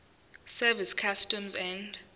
service customs and